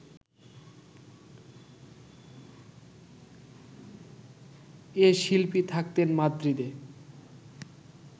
এ শিল্পী থাকতেন মাদ্রিদে